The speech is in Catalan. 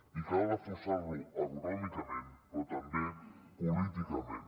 i cal reforçar lo econòmicament però també políticament